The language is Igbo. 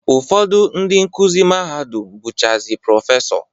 Ụfọdụ ndị nkuzi mahadum bụchazi Prọfesọ